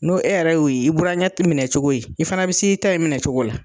N'o e yɛrɛ y'o ye i burankɛ te minɛ cogo ye. I fana be s'i ta in minɛ cogo la.